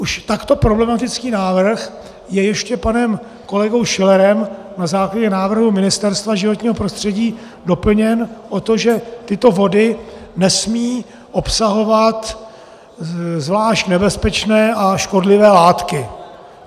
Už takto problematický návrh je ještě panem kolegou Schillerem na základě návrhu Ministerstva životního prostředí doplněn o to, že tyto vody nesmějí obsahovat zvlášť nebezpečné a škodlivé látky.